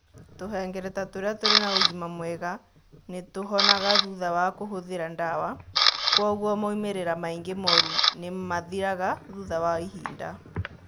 Tũhengereta tũria tũrĩ na ũgima mwega nĩ tũhonaga thutha wa kũhũthĩra ndawa, kũoguo moimĩrĩra maingĩ moru nĩ mathiraga thutha wa ihinda.